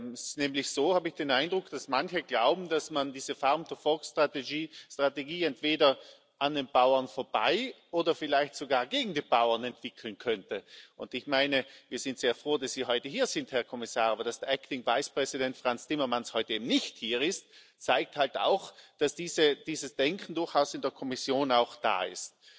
Es ist nämlich so, habe ich den Eindruck, dass manche glauben, dass man diese Strategie entweder an den Bauern vorbei oder vielleicht sogar gegen die Bauern entwickeln könnte. Ich meine, wir sind sehr froh, dass Sie heute hier sind, Herr Kommissar, aber dass der Frans Timmermans heute nicht hier ist, zeigt halt auch, dass dieses Denken durchaus in der Kommission auch da ist.